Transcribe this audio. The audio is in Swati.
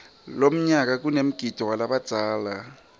lomnyala kanemgidvo walabadzala